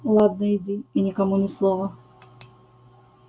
ладно иди и никому ни слова